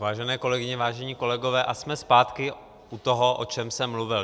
Vážené kolegyně, vážení kolegové, a jsme zpátky u toho, o čem jsem mluvil.